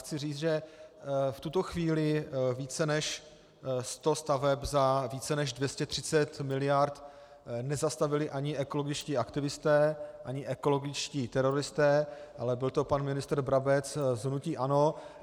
Chci říct, že v tuto chvíli více než sto staveb za více než 230 miliard nezastavili ani ekologičtí aktivisté, ani ekologičtí teroristé, ale byl to pan ministr Brabec z hnutí ANO.